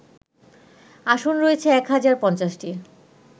আসন রয়েছে এক হাজার ৫০টি